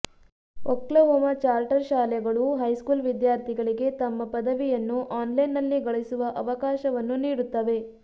Oklahoma charter ಶಾಲೆಗಳು high school ವಿದ್ಯಾರ್ಥಿಗಳಿಗೆ ತಮ್ಮ ಪದವಿಯನ್ನು ಆನ್ಲೈನ್ನಲ್ಲಿ ಗಳಿಸುವ ಅವಕಾಶವನ್ನು ನೀಡುತ್ತವೆ